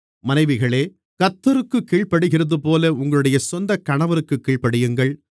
மனைவிகளே கர்த்தருக்குக் கீழ்ப்படிகிறதுபோல உங்களுடைய சொந்தக் கணவருக்குக் கீழ்ப்படியுங்கள்